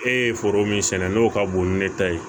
E ye foro min sɛnɛ n'o ka bon ni ne ta ye